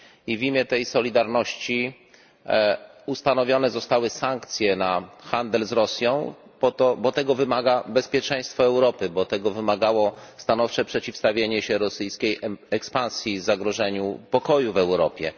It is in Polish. W imię tej solidarności ustanowione zostały sankcje na handel z Rosją, bo tego wymaga bezpieczeństwo Europy, bo tego wymagało stanowcze przeciwstawienie się rosyjskiej ekspansji, zagrożeniu pokoju w Europie.